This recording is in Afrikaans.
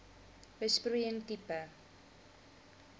besproeiing tipe